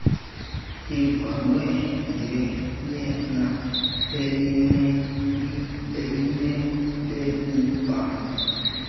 ivalwe ngetywina elineleyibheli